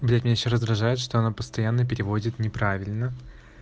блять меня ещё раздражает что она постоянно переводит неправильно